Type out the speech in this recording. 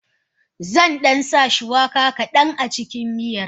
Zandan sa shuwaka kadan acikin miyar.